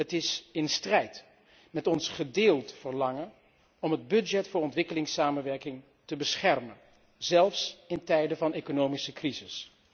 Het is in strijd met ons gedeeld verlangen om het budget voor ontwikkelingssamenwerking te beschermen, zelfs in tijden van economische crisis.